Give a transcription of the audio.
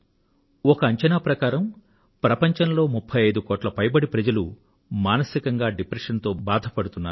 ఒక అంచనా ప్రకారం ప్రపంచంలో 35 కోట్ల పైబడి ప్రజలు మానసికంగా డిప్రెషన్ తో బాధ పడుతున్నారు